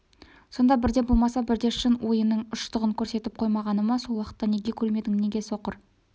сонда бірде болмаса бірде шын ойының ұштығын көрсетіп қоймағаны ма сол уақытта неге көрмедің неге соқыр